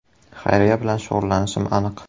Xayriya bilan shug‘ullanishim aniq.